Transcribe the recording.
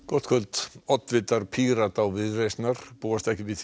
gott kvöld oddvitar Pírata og Viðreisnar búast ekki við